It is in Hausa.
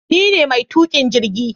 Ni ne maitukin jirgi